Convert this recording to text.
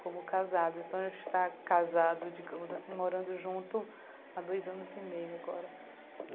como casados, então a gente está casado, digamos assim, morando junto há dois anos e meio agora.